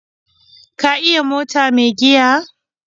Ka iya mota mai giya?